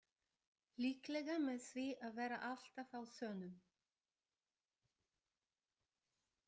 Líklega með því að vera alltaf á þönum.